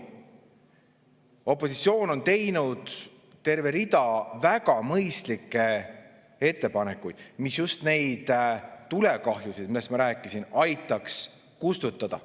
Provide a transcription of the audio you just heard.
Opositsioon on teinud terve rea väga mõistlikke ettepanekuid, mis just neid tulekahjusid, millest ma rääkisin, aitaks kustutada.